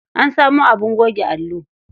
An samo abin goge allo.